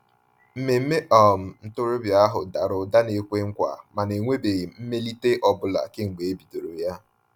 Mmemme um ntorobịa ahụ dara ụda na-ekwe nkwa, mana enwebeghị mmelite ọ bụla kemgbe e bidoro ya.